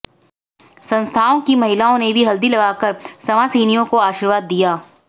संस्थाओं की महिलाओं ने भी हल्दी लगाकर संवासिनियों को आशीर्वाद दिया